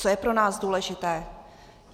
Co je pro nás důležité?